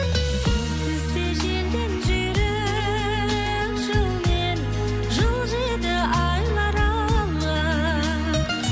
сенсіз де желден жүйрік жылмен жылжиды айлар алға